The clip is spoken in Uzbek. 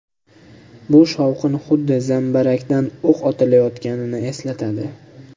Bu shovqin xuddi zambarakdan o‘q otilayotganini eslatadi.